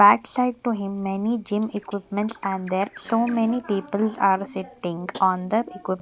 back side to him many gym equipments are there so many peoples are sitting on the equip --